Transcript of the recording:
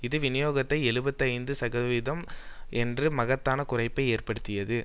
இது விநியோகத்தை எழுபத்தி ஐந்து சதவிகிதம் என்று மகத்தான குறைப்பை ஏற்படுத்தியது